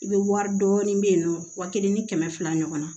I bɛ wari dɔɔni bɛ yen nɔ wa kelen ni kɛmɛ fila ɲɔgɔnna